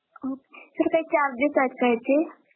अं sir काही charges आहेत का याचे?